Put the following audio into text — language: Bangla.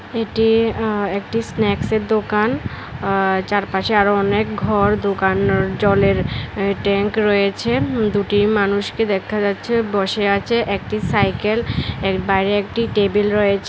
এটি অ্যা একটি স্ন্যাকসের দোকান আ চারপাশে আরো অনেক ঘর দোকান জলের এ ট্যাঙ্ক রয়েছে দুটি মানুষকে দেখা যাচ্ছে বসে আছে একটি সাইকেল এর বাইরে একটি টেবিল রয়েছে।